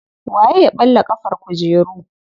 Waye ya ɓalla ƙafar kujeru.